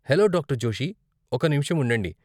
Hello, doctor Joshi. ఒక నిముషం ఉండండి.